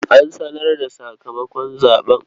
An sanar da sakamakon zaɓe.